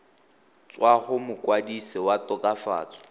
tswa go mokwadise wa tokafatso